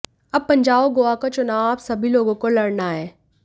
अब पंजाब और गोवा का चुनाव आप सभी लोगों को लडऩा है